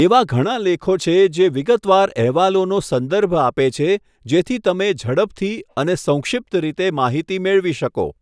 એવા ઘણા લેખો છે જે વિગતવાર અહેવાલોનો સંદર્ભ આપે છે, જેથી તમે ઝડપથી અને સંક્ષિપ્ત રીતે માહિતી મેળવી શકો.